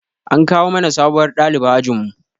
An kawo mana sabuwar ɗaliba ajin mu